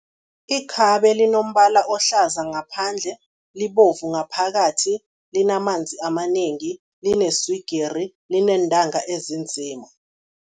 Ikhabe linombala ohlaza ngaphandle, libovu ngaphakathi, linamanzi amanengi, lineswigiri, lineentanga ezinzima.